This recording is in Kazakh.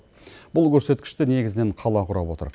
бұл көрсеткішті негізінен қала құрап отыр